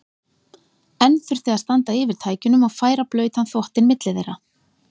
Enn þurfti að standa yfir tækjunum og færa blautan þvottinn milli þeirra.